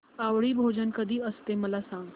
आवळी भोजन कधी असते मला सांग